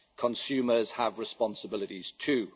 Consumers have responsibilities too.